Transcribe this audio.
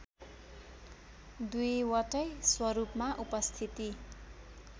दुईवटै स्वरूपमा उपस्थिति